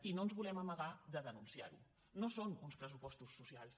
i no ens volem amagar de denunciar·ho no són uns pressupostos socials